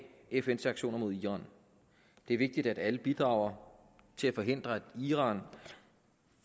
fns sanktioner mod iran det er vigtigt at alle bidrager til at forhindre at iran